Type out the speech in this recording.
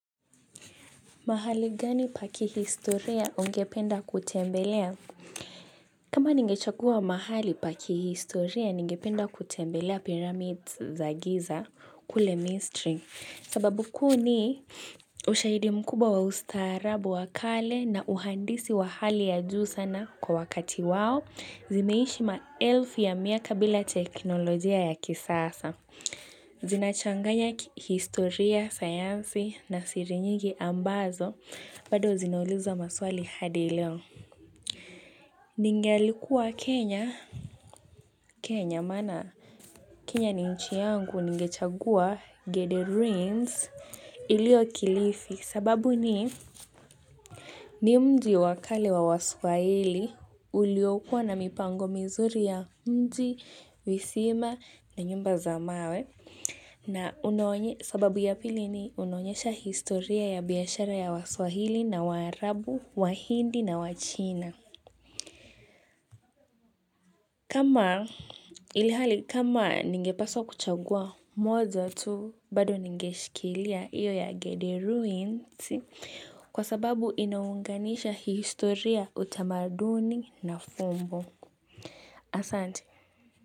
Mahali gani pa kihistoria ungependa kutembelea? Kama ningechagua mahali pakihistoria, ningependa kutembelea pyramids za giza kule misri. Sababu kuu ni ushaidi mkubwa wa ustaarabu wakale na uhandisi wa hali ya juu sana kwa wakati wao, zimeishi maelfi ya miaka bila teknolojia ya kisasa. Zinachanganya kihistoria, sayansi na siri nyingi ambazo, bado zinauliza maswali hadileo. Ningalikuwa Kenya. Kenya mana? Kenya ni nchi yangu nigechagua Gede Ruins ilio kilifi sababu ni ni mji wakale wa waswahili ulio kuwa na mipango mizuri ya mji, visima na nyumba zamawe. Na sababu ya pili ni unaonyesha historia ya biashara ya waswahili na waarabu, wahindi na wachina. Kama ilihali kama ningepaswa kuchagua moja tu bado ningeshikilia iyo ya Gede Ruins kwa sababu inaunganisha historia utamaduni na fumbo. Asante.